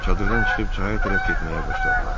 Çadırdan çıxıb çaya tərəf getməyə başladılar.